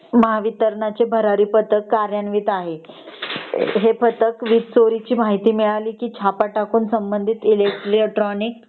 महावितरणचे भरारी पथक कर्यानवित आहे . हे पथक वीज चोरीची माहिती मिळाली की छापा टाकून संबंधित इलेक्ट्रॉनिक